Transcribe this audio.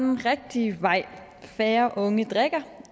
den rigtige vej færre unge drikker